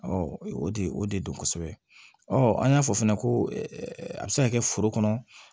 o de o de don kosɛbɛ ɔɔ an y'a fɔ fɛnɛ ko a bɛ se ka kɛ foro kɔnɔ